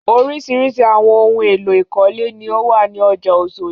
Oríṣiríṣi àwọn ohun-èlò ìkọ́lé ni ó wà ní ọjà Oṣòdì.